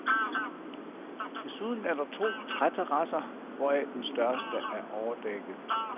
Desuden er der to træterrasser, hvoraf den største er overdækket.